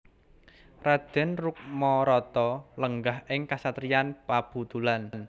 Raden Rukmarata lenggah ing kasatriyan Pabutulan